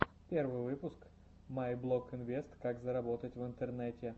первый выпуск майблогинвест как заработать в интернете